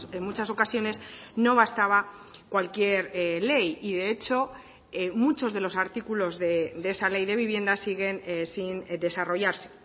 en muchas ocasiones no bastaba cualquier ley y de hecho muchos de los artículos de esa ley de vivienda siguen sin desarrollarse